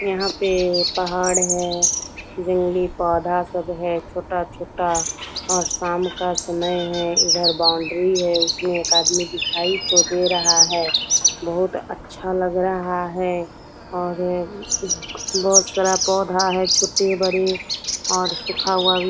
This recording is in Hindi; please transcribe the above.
यहाँ पे पहाड़ है जंगली पौधा सब है छोटा-छोटा और शाम का समय है। इधर बाउंड्री है इसमें एक आदमी दिखाई तो दे रहा है बहुत अच्छा लग रहा है और बहोत सारा पौधा है छोटे-बड़े और सूखा हुआ भी।